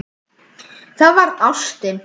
Það var ástin.